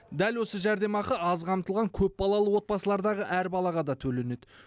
дәл осы жәрдемақы аз қамтылған көпбалалы отбасылардағы әр балаға да төленеді